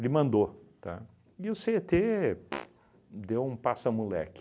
Ele mandou, tá? E o cê e tê pf deu um passa-moleque.